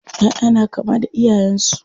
ƴaʼƴa na kama da iyayen su.